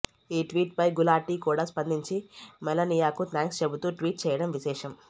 ఈ ట్వీట్ పై గులాటీ కూడా స్పందించి మెలనియాకు థాంక్స్ చెబుతూ ట్వీట్ చేయడం విశేషం